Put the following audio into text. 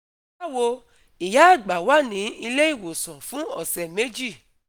bawo, ìyá àgbà wà ní ilé ìwòsàn fún ọsẹ méjì